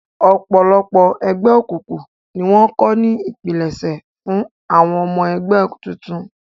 Ọ̀pọ̀lọpọ̀ ẹgbẹ́ òkùnkùn ni wọ́n kọ́ ní ipilẹṣẹ fún àwọn ọmọ ẹgbẹ́ tuntun